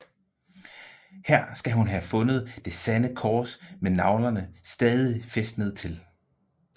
Her skal hun have fundet Det Sande Kors med naglerne stadig fæstnet til